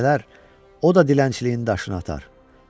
Bax, gələr, o da dilənçiliyin daşını atar.